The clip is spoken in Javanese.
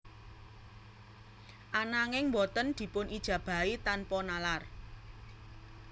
Ananging boten dipun ijabahi tanpa nalar